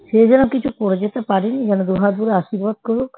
সেই জন্য কিছু করে যেতে পারেনি যেন দুই হাত ভরে আশীর্বাদ করুক